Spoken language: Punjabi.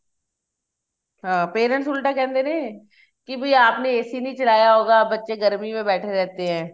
parents ਉਲਟਾ ਕਹਿੰਦੇ ਨੇ ਕੀ ਬੀ ਆਪ ਨੇ AC ਨਹੀਂ ਚਲਾਇਆ ਹੋਗਾ ਬੱਚੇ ਗਰਮੀ ਮੇ ਬੈਠੇ ਰਹਿਤੇ ਏ